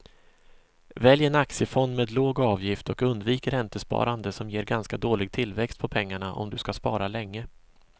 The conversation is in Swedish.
Välj en aktiefond med låg avgift och undvik räntesparande som ger ganska dålig tillväxt på pengarna om du ska spara länge.